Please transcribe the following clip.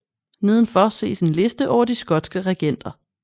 Nedenfor ses en liste over de skotske regenter